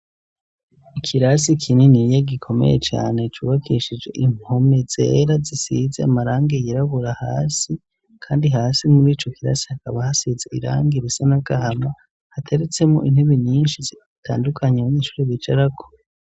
Ikirasi kinini niye gikomeye cane cubakishije impome zera zisize amaranga yirabura hasi, kandi hasi muri ico kirasi hakaba hasize iranga ibisa na gahama hateretsemo intubi ninshi zitandukanyemwo'incuri bijarako.